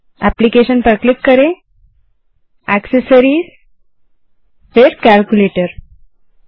तो application gt accessories gt calculator पर चलिए